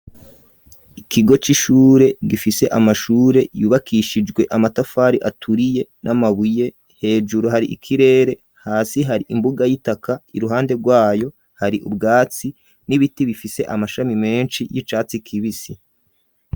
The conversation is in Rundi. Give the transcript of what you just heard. ikigo c'ishure gifise amashure yubakishijwe amatafari aturiye n'amabuye hejuru hari ikirere hasi hari imbuga y'itaka iruhande rwayo hari ubwatsi n'ibiti bifise amashami menshi y'icatsi kibisi.